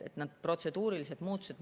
Need on protseduurilised muutused.